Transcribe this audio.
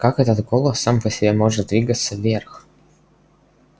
как этот голос сам по себе может двигаться вверх